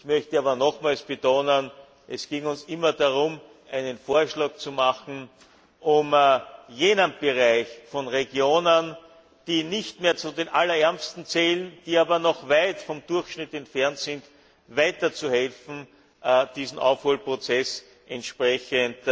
Ich möchte aber nochmals betonen, dass es uns immer darum ging, einen Vorschlag zu machen, um jenen Bereichen von Regionen, die nicht mehr zu den allerärmsten zählen, die aber noch weit vom Durchschnitt entfernt sind, weiterzuhelfen, diesen Aufholprozess entsprechend